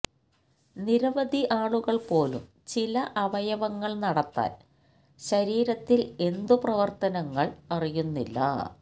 നിരവധി ആളുകൾ പോലും ചില അവയവങ്ങൾ നടത്താൻ ശരീരത്തിൽ എന്തു പ്രവർത്തനങ്ങൾ അറിയുന്നില്ല